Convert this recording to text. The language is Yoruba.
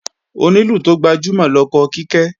Onílù tó gbajúmọ̀ lọkọ Kíkẹ́